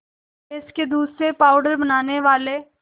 भैंस के दूध से पावडर बनाने वाले